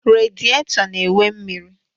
Rediato na-enwe mmiri